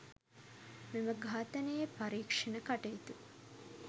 මෙම ඝාතනයේ පරීක්‍ෂණ කටයුතු